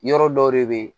Yɔrɔ dɔw de bɛ ye